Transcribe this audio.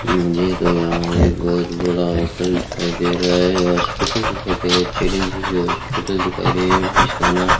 मुझे तो यहां एक बहोत बड़ा होटल दिखाई दे रहा है हॉस्पिटल दिखाई दे रहा है चिरंजीव हॉस्पिटल दिखाई दे जिसका नाम --